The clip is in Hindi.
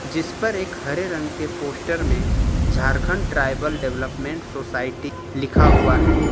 जिस पर एक हरे रंग के पोस्टर में झारखंड ट्राईबल डेवलपमेंट सोसाइटी लिखा हुआ है।